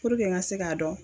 Puruke n ka se k'a dɔn.